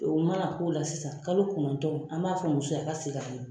O mana k'o la sisan kalo kɔnɔntɔn, an b'a fɔ muso ye, a ka segin ka na